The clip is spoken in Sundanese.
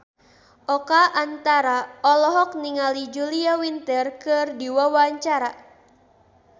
Oka Antara olohok ningali Julia Winter keur diwawancara